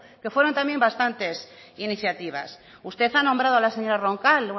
que fueron también bastantes iniciativas usted ha nombrado a la señora roncal